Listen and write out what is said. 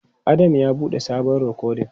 Adam ya bude sabon rikodin.